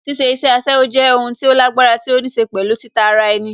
Ṣíṣe iṣẹ́ aṣẹ́wó jẹ́ o n tí ó lágbára tí ó níṣe pẹ̀lú títa ara ẹni